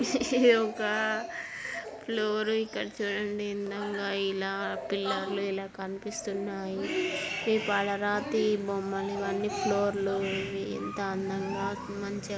Floor ఇక్కడ చూడండి ఎంతో అందంగా ఇలా పిల్లర్ లు ఇలా కనిపిస్తున్నాయి. ఈ పాలరాతి బొమ్మలు ఇవన్నీ ఫ్లోర్ లు ఇవి ఎంత అందంగా మంచిగా--